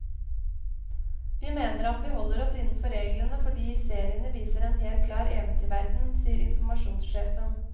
Vi mener at vi holder oss innenfor reglene, fordi seriene viser en helt klar eventyrverden, sier informasjonssjefen.